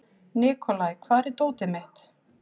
Nikolai, hvar er dótið mitt?